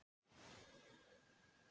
Hann reyndist vera fótbrotinn